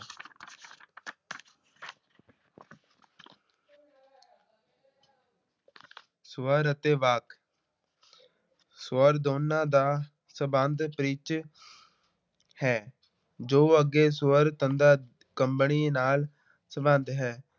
ਸਵਰ ਅਤੇ ਵਾਕ ਸਵਰ ਦੋਨਾਂ ਦਾ ਸੰਬੰਧ ਪਿੱਚ ਹੈ ਜੋ ਅੱਗੇ ਸਵਰ ਤੰਦਾਂ ਕੰਬਣੀ ਨਾਲ ਸੰਬੰਧ ਹੈ।